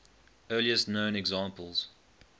earliest known examples